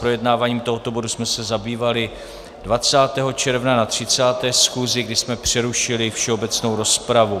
Projednáváním tohoto bodu jsme se zabývali 20. června na 30. schůzi, kdy jsme přerušili všeobecnou rozpravu.